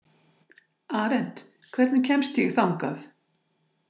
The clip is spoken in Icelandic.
Arent, hvernig kemst ég þangað?